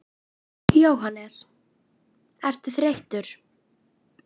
Jóhannes: Ertu þreyttur?